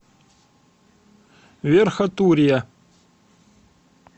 верхотурья